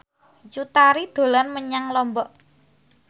Cut Tari dolan menyang Lombok